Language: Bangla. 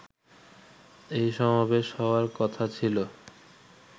এই সমাবেশ হওয়ার কথা ছিলো